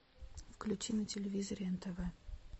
включи на телевизоре нтв